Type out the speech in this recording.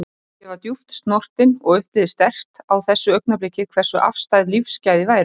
Ég var djúpt snortin og upplifði sterkt á þessu augnabliki hversu afstæð lífsgæði væru.